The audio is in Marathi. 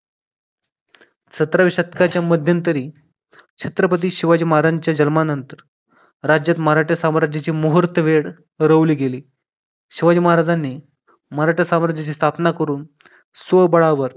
सतराव्या शतकाच्या मध्यंतरी छत्रपती शिवाजी महाराजांच्या जन्मानंतर राज्यात मराठी साम्राज्याची मुहूर्त वेळ ठरवली गेली शिवाजी महाराजांनी मराठी साम्राज्याची स्थापना करून स्वबळावर